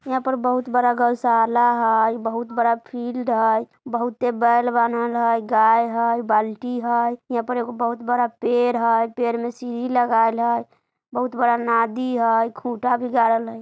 यहां पर बहुत बड़ा गौशाला हय बहुत बड़ा फील्ड हय बहुते बैल बांहल हय गाय हय बाल्टी हय यहां पर एगो बहुत बड़ा पेड़ हय पेड़ में सीढ़ी लगाल हय बहुत बड़ा नादि हय खुटा भी गाड़ल हय।